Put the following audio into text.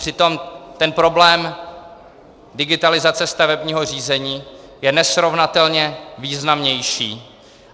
Přitom ten problém digitalizace stavebního řízení je nesrovnatelně významnější.